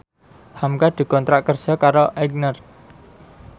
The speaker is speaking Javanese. hamka dikontrak kerja karo Aigner